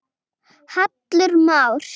Hallur Már